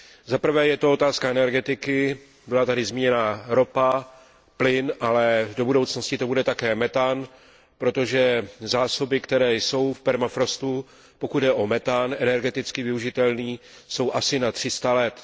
Zaprvé je to otázka energetiky, byla tady zmíněna ropa, plyn, ale do budoucnosti to bude také metan, protože zásoby, které jsou v permafrostu, pokud jde o metan energeticky využitelný, jsou asi na 300 let.